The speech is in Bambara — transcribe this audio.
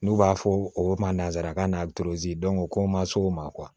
N'u b'a fɔ o ma nanzarakan na o ko n ma s'o ma